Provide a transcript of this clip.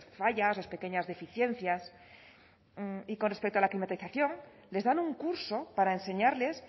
fallas las pequeñas deficiencias y con respecto a la climatización les dan un curso para enseñarles